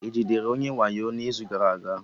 E jidere onye wayo n'izu gara aga?